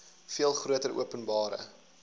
veel groter openbare